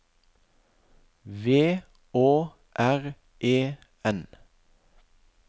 V Å R E N